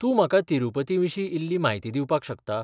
तूं म्हाका तिरूपतीविशीं इल्ली म्हायती दिवपाक शकता?